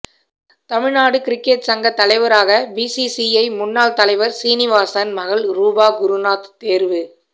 Tamil Nadu cricket சங்க தலைவராக BCCI முன்னாள் தலைவர் சீனிவாசன் மகள் ரூபா குருநாத் தேர்வு